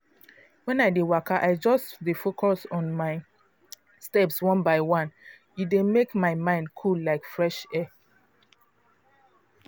when i dey waka i just dey focus on my steps one by one. e dey make my mind cool like fresh air.